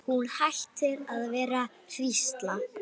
Hún hættir að vera hrísla.